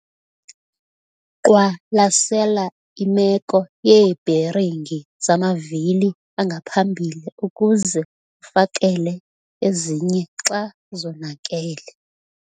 Qwalasela imeko yeebheringi zamavili angaphambili ukuze ufakele ezinye xa zonakele.